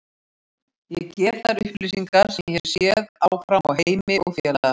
Ég gef þær upplýsingar sem ég hef séð áfram á Heimi og félaga.